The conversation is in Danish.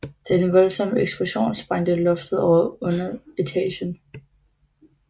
Den voldsomme eksplosion sprængte loftet over underetagen